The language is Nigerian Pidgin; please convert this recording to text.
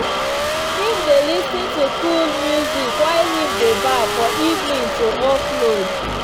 him dey lis ten to coole music while him dey baff for evening to offload.